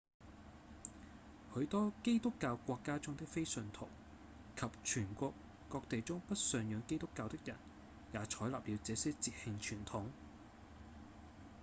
許多基督教國家中的非信徒及全球各地中不信仰基督教的人也採納了這些節慶傳統